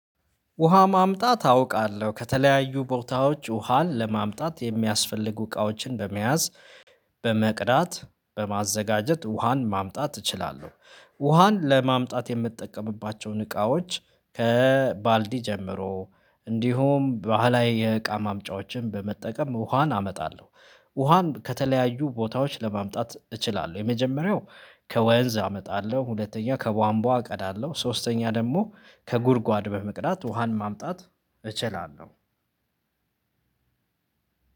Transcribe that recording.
ውሃ ማምጣት አውቃለሁ ከተለያዩ ቦታዎች ውሃን ለማምጣት የሚያስፈልጉ እቃዎችን ለመያዝ በመቅዳት በማዘጋጀት ውሃን ማምጣት እችላለሁ። ውሃን ለማምጣት የምትጠቀምባቸውን እቃዎች ከባልዲ ጀምሮ እንዲሁም ባህላዊ የእቃ ማምጫዎችን በመጠቀም ውሃን አመጣለሁ። ውሃም ከተለያዩ ቦታዎች ለማምጣት እችላለሁ። የመጀመሪያው ከወንዝ አመጣለሁ ሁለተኛ ከቧንቧ እቀዳለሁ ሶስተኛ ደግሞ ከጉድጓድ በመቅዳት ውሃን ማምጣት እችላለሁ።